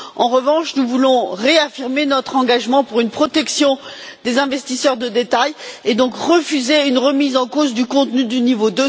En revanche, nous voulons réaffirmer notre engagement en faveur d'une protection des investisseurs de détail et, donc, refuser une remise en cause du contenu du niveau